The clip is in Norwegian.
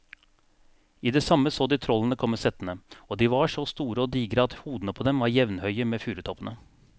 I det samme så de trollene komme settende, og de var så store og digre at hodene på dem var jevnhøye med furutoppene.